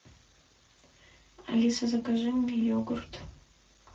алиса закажи мне йогурт